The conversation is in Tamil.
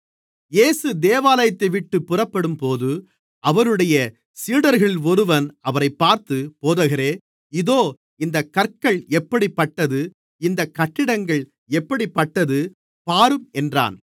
இயேசு தேவாலயத்தைவிட்டுப் புறப்படும்போது அவருடைய சீடர்களில் ஒருவன் அவரைப் பார்த்து போதகரே இதோ இந்தக் கற்கள் எப்படிப்பட்டது இந்தக் கட்டிடங்கள் எப்படிப்பட்டது பாரும் என்றான்